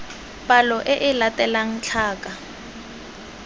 palo e e latelang tlhaka